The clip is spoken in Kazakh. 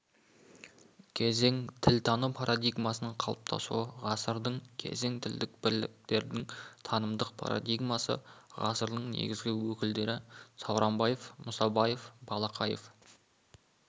кезең тілтану парадигмасының қалыптасуы ғасырдың кезең тілдік бірліктердің танымдық парадигмасы ғасырдың негізгі өкілдері сауранбаев мұсабаев балақаев